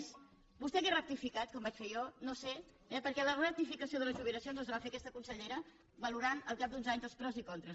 a més vostè hauria rectificat com vaig fer jo no ho sé eh perquè la rectificació de les jubilacions les va fer aquesta consellera valorant al cap d’uns anys els pros i contres